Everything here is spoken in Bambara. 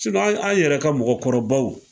Sinɔn an yɛrɛ ka mɔgɔkɔrɔbaw